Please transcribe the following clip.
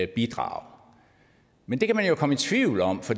bidrage men det kan man jo komme i tvivl om for